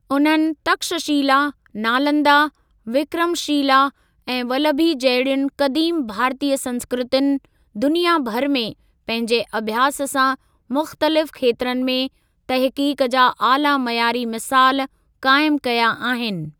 उन्हनि तक्षशिला, नालंदा, विक्रमशिला ऐं वल्लभी जहिड़ियुनि क़दीम भारतीय संस्कृतियुनि दुनिया भर में पंहिंजे अभ्यास सां मुख़्तलिफ़ खेत्रनि में तहक़ीक़ जा आला मयारी मिसाल काइमु कया आहिनि।